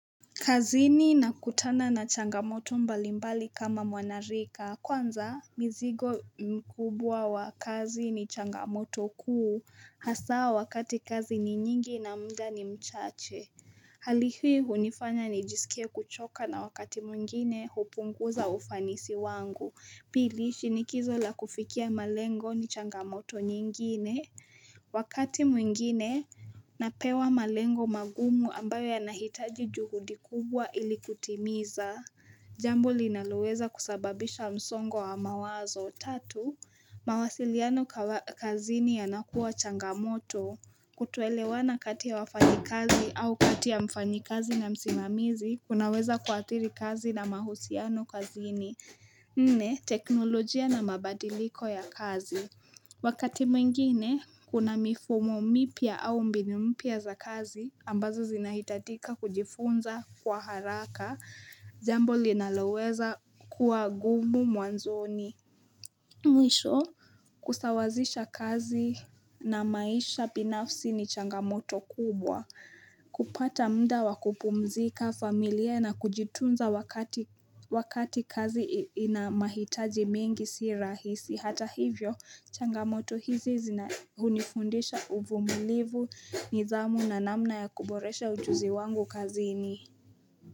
Kazini nakutana na changamoto mbalimbali kama mwanarika, kwanza mizigo mkubwa wa kazi ni changamoto kuu, hasa wakati kazi ni nyingi na muda ni mchache. Hali hii hunifanya nijisikie kuchoka na wakati mwingine hupunguza ufanisi wangu. Pili, shinikizo la kufikia malengo ni changamoto nyingine. Wakati mwingine, napewa malengo magumu ambayo yanahitaji juhudi kubwa ili kutimiza. Jambo linaloweza kusababisha msongo wa mawazo. Tatu, mawasiliano kazini yanakuwa changamoto, kutoelewana kati ya wafanyi kazi au kati ya mfanyi kazi na msimamizi, kunaweza kuathiri kazi na mahusiano kazini Nne, teknolojia na mabadiliko ya kazi. Wakati mwingine, kuna mifumo mipya au mbinu mpya za kazi, ambazo zinahitajika kujifunza kwa haraka. Jambo linaloweza kuwa gumu mwanzoni Mwisho kusawazisha kazi na maisha binafsi ni changamoto kubwa, kupata muda wa kupumzika, familia na kujitunza wakati kazi ina mahitaji mingi si rahisi, hata hivyo changamoto hizi zina hunifundisha uvumilivu, nidhamu na namna ya kuboresha ujuzi wangu kazini.